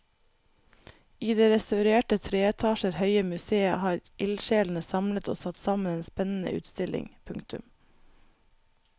I det restaurerte tre etasjer høye museet har ildsjelene samlet og satt sammen en spennende utstilling. punktum